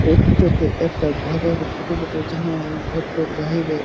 এই ফোটো -টো একটা ঘরের ফটো বটে। যাহা ঘরটার বাহিরে--